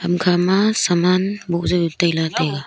ukha ma saman moh yow taila taiga.